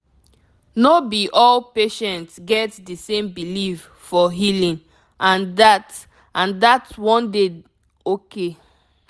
no be all patient get di same belief for healing and dat and dat one dey okay